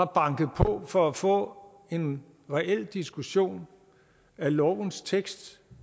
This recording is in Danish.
banket på for at få en reel diskussion af lovens tekst